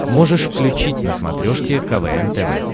можешь включить на смотрешке квн тв